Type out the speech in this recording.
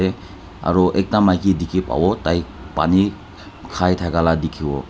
dae aro ekta maiki diki pabo tai pani khai takalaka dikivo.